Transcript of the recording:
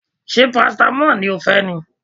Ṣé parasitamọ́ọ̀ ni ó fẹ́ ni?